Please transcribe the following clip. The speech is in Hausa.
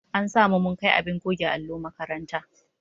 An sa mu mun kai abin goge allo makaranta.